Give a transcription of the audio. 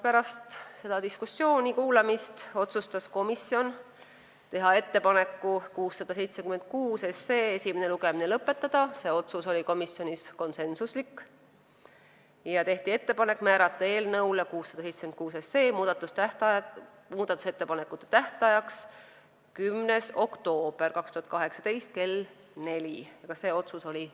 Pärast selle diskussiooni ärakuulamist otsustas komisjon teha ettepaneku eelnõu 676 esimene lugemine lõpetada ja teha ettepaneku määrata eelnõu 676 muudatusettepanekute tähtajaks 10. oktoober 2018 kell 16 .